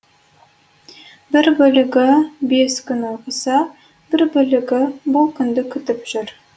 бір бөлігі бес күн оқыса бір бөлігі бұл күнді күтіп жүр